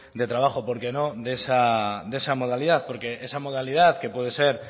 de trabajo porqué no de esa modalidad porque esa modalidad que puede ser